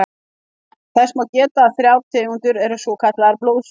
Þess má geta að þrjár tegundir eru svokallaðar blóðsugur.